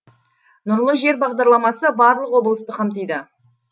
нұрлы жер бағдарламасы барлық облысты қамтиды